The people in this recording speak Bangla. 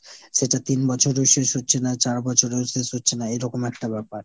সেটা তিন বছরেও শেষ হচ্ছে না, চার বছরেও শেষ হচ্ছে না এরকম একটা ব্যাপার।